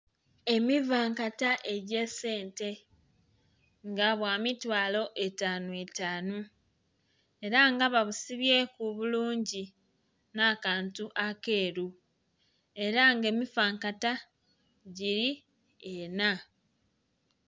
Emivankata egyesente nga bwamitwalo etanu etanu era nga babusibyeku bulungi nakantu akeru era nga emifankata giri ena.